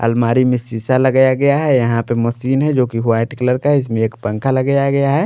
अलमारी में शीशा लगाया गया है यहां पे मशीन है जो कि वाइट कलर का है इसमें एक पंखा लगाया गया है।